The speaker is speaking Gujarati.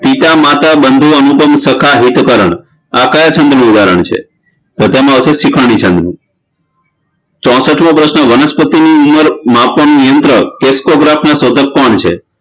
પિતા માતા બંધુ અનુપમ સખા હિત કરણ આ કયા છંદનું ઉદાહરણ છે તો તેમા આવશે સિખાણી છંદનું ચોસઠમો પ્રશ્ન વનસ્પતિનું ઉમર માપવાનું યંત્ર Crescograph શોધક કોણ છે